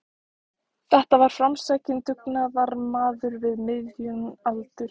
Þetta var framsækinn dugnaðarmaður við miðjan aldur.